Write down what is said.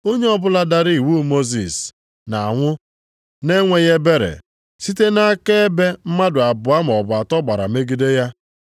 Onye ọbụla dara iwu Mosis, na-anwụ na-enweghị ebere, site nʼakaebe mmadụ abụọ maọbụ atọ gbara megide ya.